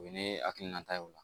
O ye ne hakilinata ye o la